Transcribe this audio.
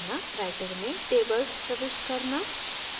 writer में tables प्रविष्ट करना